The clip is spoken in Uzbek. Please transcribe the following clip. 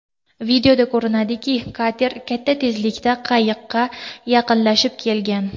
Videoda ko‘rinadiki kater katta tezlikda qayiqqa yaqinlashib kelgan.